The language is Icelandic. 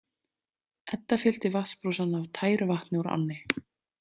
Edda fyllti vatnsbrúsann af tæru vatni úr ánni.